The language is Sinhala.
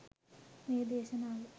මේ දේශනාව